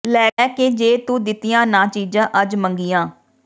ਲੈ ਕੇ ਜੇ ਤੂੰ ਦਿੱਤੀਆਂ ਨਾਂ ਚੀਜਾਂ ਅੱਜ ਮੰਗੀਆਂ